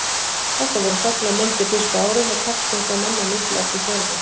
Þetta voru þöglar myndir fyrstu árin og textinn kom inn á milli eftir þörfum.